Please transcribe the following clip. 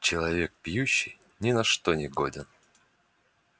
человек пьющий ни на что не годен